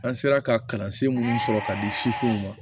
An sera ka kalansen minnu sɔrɔ ka di sifinw ma